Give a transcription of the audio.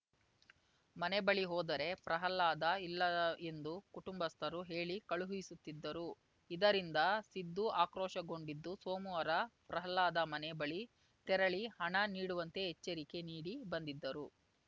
ಮನೆ ಬಳಿ ಹೋದರೆ ಪ್ರಹ್ಲಾದ ಇಲ್ಲ ಎಂದು ಕುಟುಂಬಸ್ಥರು ಹೇಳಿ ಕಳುಹಿಸುತ್ತಿದ್ದರು ಇದರಿಂದ ಸಿದ್ದು ಆಕ್ರೋಶಗೊಂಡಿದ್ದು ಸೋಮವಾರ ಪ್ರಹ್ಲಾದ ಮನೆ ಬಳಿ ತೆರಳಿ ಹಣ ನೀಡುವಂತೆ ಎಚ್ಚರಿಕೆ ನೀಡಿ ಬಂದಿದ್ದರು